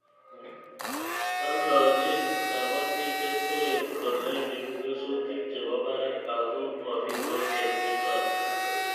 Aldochin kapatik keswek kolen ipu kesutik che po parak ako mapitos keswek chotok